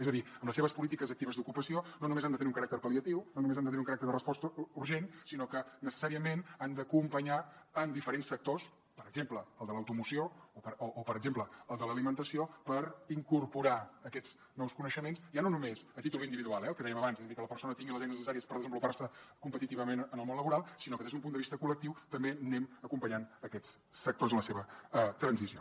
és a dir les seves polítiques actives d’ocupació no només han de tenir un caràcter pal·liatiu no només han de tenir un caràcter de resposta urgent sinó que necessàriament han d’acompanyar en diferents sectors per exemple el de l’automoció o per exemple el de l’alimentació per incorporar aquests nous coneixements ja no només a títol individual eh el que dèiem abans és a dir que la persona tingui les eines necessàries per desenvolupar se competitivament en el món laboral sinó que des d’un punt de vista col·lectiu també anem acompanyant aquests sectors en la seva transició